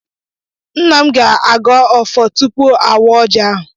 Nna m ga-agọ ọfọ tupu awa ọji ahụ.